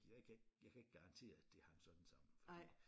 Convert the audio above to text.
Jeg kan jeg kan ikke garantere at det hang sådan sammen fordi